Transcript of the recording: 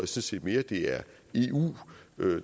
set mere at det er eu